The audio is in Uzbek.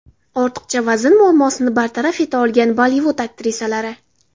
Ortiqcha vazn muammosini bartaraf eta olgan Bollivud aktrisalari .